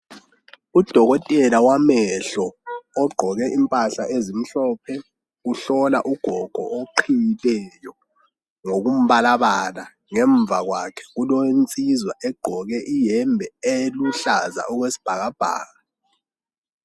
Udokotela wamehlo ogqoke impahla ezimhlophe, uhlola ugogo oqhiyileyo ngokumbalabala ngemva kwakhe kulensizwa egqoke iyembe eluhlaza okwesibhakabhaka